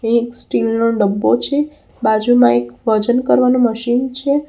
એક સ્ટીલ નો ડબ્બો છે બાજુમાં એક વજન કરવાનું મશીન છે.